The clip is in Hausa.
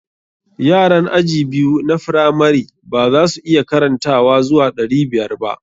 Yaran aji biyu na firamari ba za su iya karantawa zuwa ɗari biyar ba.